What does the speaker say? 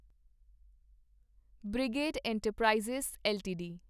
brigade enterprises LTD